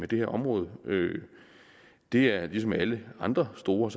det her område det er lige som alle andre store